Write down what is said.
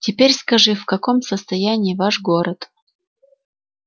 теперь скажи в каком состоянии ваш город